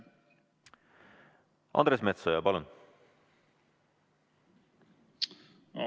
Andres Metsoja, palun!